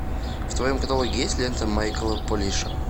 в твоем каталоге есть лента майкла полиша